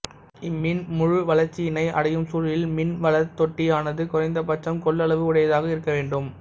இம்மீன் முழு வளச்சியினை அடையும் சூழலில் மீன் வளர்த் தொட்டியானது குறைந்த பட்சம் கொள்ளளவு உடையதாக இருக்கவேண்டும்